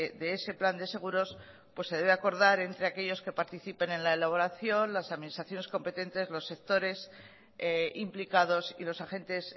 de ese plan de seguros pues se debe acordar entre aquellos que participen en la elaboración las administraciones competentes los sectores implicados y los agentes